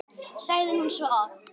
sagði hún svo oft.